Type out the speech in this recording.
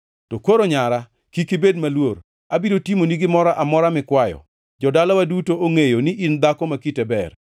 To koro, nyara, kik ibed maluor. Abiro timoni gimoro amora mikwayo. Jo-dalawa duto ongʼeyo ni in dhako ma kite ber.